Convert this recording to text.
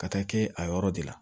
Ka taa kɛ a yɔrɔ de la